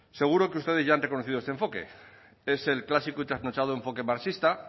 seguro que ustedes ya han reconocido enfoque es el clásico y trasnochado enfoque marxista